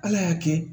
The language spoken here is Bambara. Ala y'a kɛ